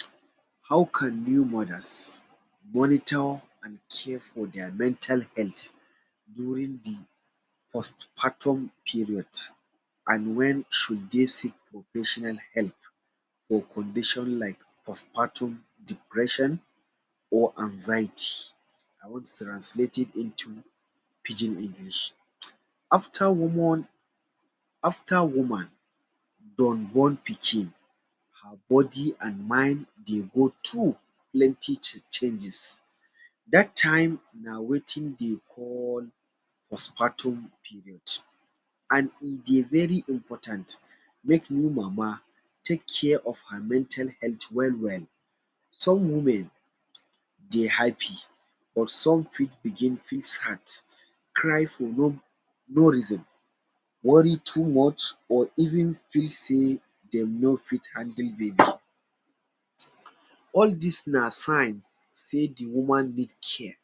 um How can new mothers monitor and care for their mental health during the postpartum period and when should dey seek for personal help for condition like postpartum depression or anxiety. I want to translate it into pidgin English. After woman, after woman born born pikin, her body and mind dey go through plenty changes. Dat time na wetin dey call postpartum period and e dey very important make new mama take care of her mental health well well. Some women dey happy or some fit begin feel sad, cry for no no reason, worry too much or even feel sey de no fit handle baby. All des na signs sey the woman need care.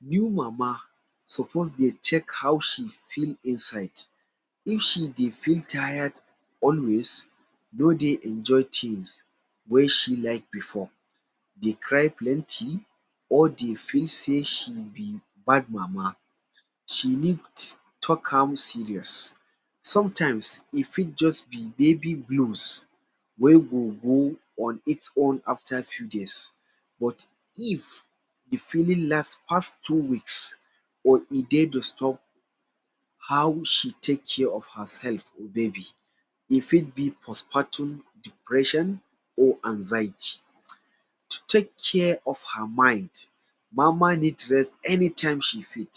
New mama suppose dey check how she feel inside. If she dey feel tire always, no dey enjoy things wey she like before, dey cry plenty or dey feel sey she be bad mama. She need take am serious. Sometimes, e fit just be baby fuse, wey go go on its own after few days but if the feeling last pass two weeks or e dey disturb how she take care of herself or baby, e fit be postpartum depression or anxiety. To take care of her mind, mama need rest anytime she fit,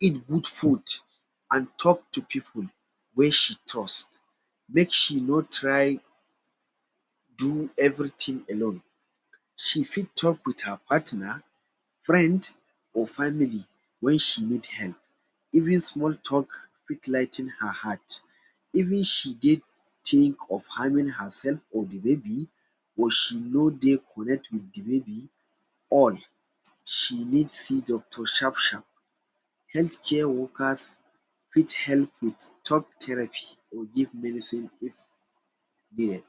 eat good food and talk to people wey she trust, make she no try do everything alone. She fit talk with her partner, friend or family when she need help. Even small talk fit ligh ten ing her heart. Even she dey think of harming herself or the baby or she no dey connect with the baby, all, she need see doctor sharp sharp. Healthcare workers fit help with talk therapist or give medicine if needed.